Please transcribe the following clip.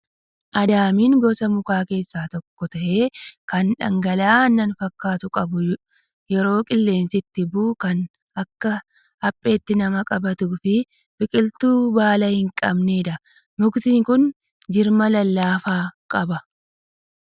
Adaamiin gosa mukaa keessaa tokko ta'ee, kan dhangala'aa aannan fakkaatu qabu, yeroo qilleensi itti ba'u kan akka hapheetti nama qabatuu fi biqiltuu baala hin qbanedha. Mukti kun jirma lallaafaa qaba.